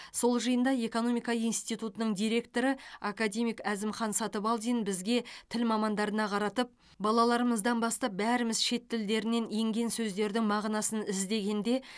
сол жиында экомика институтының директоры академик әзімхан сатыбалдин бізге тіл мамандарына қаратып балаларымыздан бастап бәріміз шет тілдерінен енген сөздердің мағынасын іздегенде